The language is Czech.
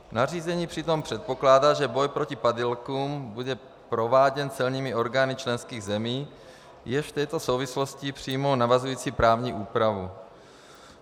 Nařízení přitom předpokládá, že boj proti padělkům bude prováděn celními orgány členských zemí, jež v této souvislosti přijmou navazující právní úpravu.